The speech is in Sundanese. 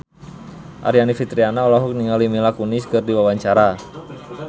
Aryani Fitriana olohok ningali Mila Kunis keur diwawancara